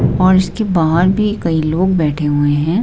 और इसके बाहर भी कई लोग बैठे हुए हैं।